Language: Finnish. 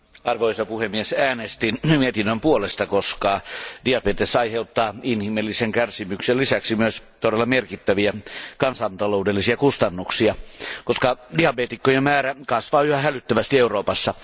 Arvoisa puhemies, äänestin mietinnön puolesta, sillä diabetes aiheuttaa inhimillisen kärsimyksen lisäksi myös todella merkittäviä kansantaloudellisia kustannuksia, koska diabeetikkojen määrä kasvaa yhä hälyttävästi Euroopassa.